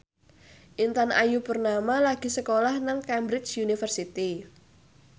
Intan Ayu Purnama lagi sekolah nang Cambridge University